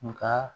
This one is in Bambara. Nka